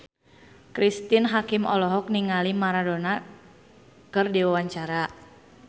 Cristine Hakim olohok ningali Maradona keur diwawancara